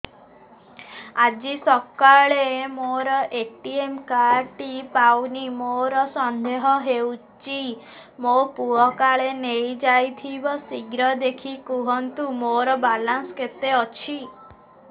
ଆଜି ସକାଳେ ମୋର ଏ.ଟି.ଏମ୍ କାର୍ଡ ଟି ପାଉନି ମୋର ସନ୍ଦେହ ହଉଚି ମୋ ପୁଅ କାଳେ ନେଇଯାଇଥିବ ଶୀଘ୍ର ଦେଖି କୁହନ୍ତୁ ମୋର ବାଲାନ୍ସ କେତେ ଅଛି